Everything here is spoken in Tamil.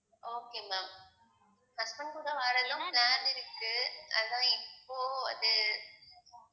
okay ma'am husband கூட வர்றதும் plan இருக்கு அதான் இப்போ அது